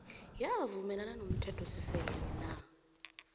uyavumelana nomthethosisekelo na